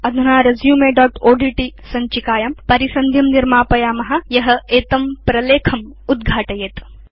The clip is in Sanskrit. अधुना resumeओड्ट् सञ्चिकायां परिसन्धिं निर्मापयाम यत् एतं प्रलेखम् उद्घाटयेत्